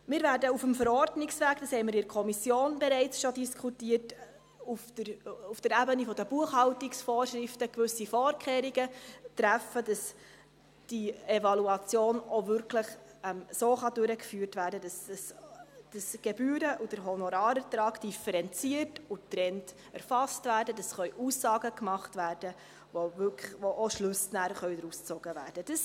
Wir werden auf dem Verordnungsweg – das haben wir in der Kommission bereits diskutiert –, auf der Ebene der Buchhaltungsvorschriften gewisse Vorkehrungen treffen, damit diese Evaluation auch wirklich so durchgeführt werden kann, sodass der Gebühren- und der Honorarertrag differenziert und getrennt erfasst werden, damit Aussagen gemacht werden können, aus denen dann auch Schlüsse gezogen werden können.